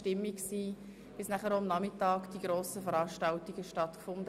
Am Nachmittag fanden dann auf dem Bundesplatz verschiedene Veranstaltungen statt.